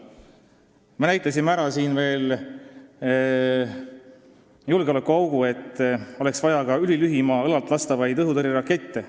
Me näitasime ära veel ühe julgeolekuaugu – oleks vaja ülilühimaa õlaltlastavaid õhutõrjerakette.